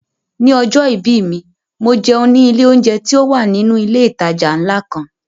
Ni ọjọ́ ìbí mi, mo jẹun ní ilé oúnjẹ tí ó wà nínú ilé ìtajà ńlá kan